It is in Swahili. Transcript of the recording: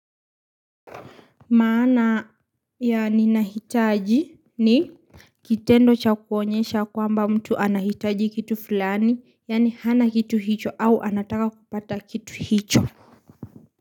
Maana ya ninahitaji ni kitendo cha kuonyesha kwamba mtu anahitaji kitu fulani yaani hana kitu hicho au anataka kupata kitu hicho.